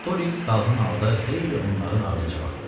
Artorix dalğın halda xeyli onların ardınca baxdı.